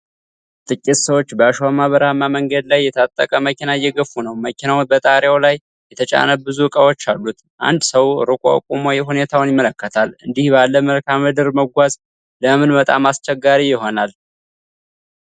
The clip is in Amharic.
ጥቂት ሰዎች በአሸዋማ በረሃማ መንገድ ላይ የተጣበቀ መኪና እየገፉ ነው። መኪናው በጣሪያው ላይ የተጫነ ብዙ እቃዎች አሉት። አንድ ሰው ርቆ ቆሞ ሁኔታውን ይመለከታል። እንዲህ ባለ መልክዓ ምድር መጓዝ ለምን በጣም አስቸጋሪ የሆነው?